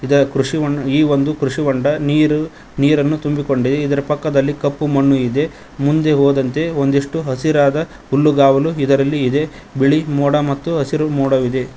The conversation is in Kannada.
ಇದ ಕೃಷಿ ಈ ಒಂದು ಕೃಷಿ ಹೊಂಡ ನೀರು ನೀರನ್ನು ತುಂಬಿಕೊಂಡಿದೆ ಇದರ ಕಪ್ಪು ಮಣ್ಣು ಇದೆ ಮುಂದೆ ಹೋದಂತೆ ಒಂದಿಷ್ಟು ಹಸಿರಾದ ಹುಲ್ಲುಗಾವಲು ಇದರಲ್ಲಿ ಇದೆ ಬಿಳಿ ಮೋಡ ಮತ್ತು ಹಸಿರು ಮೋಡವಿದೆ.